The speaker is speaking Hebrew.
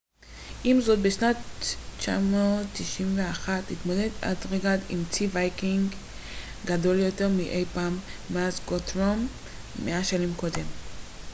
עם זאת בשנת 991 התמודד אתלרד עם צי ויקינגי גדול יותר מאי פעם מאז גות'רום מאה שנים קודם